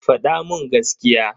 Fada mun gaskiya.